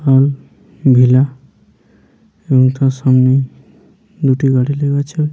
Villa এবং তার সামনেই দুটি গাড়ি লেগে আছে।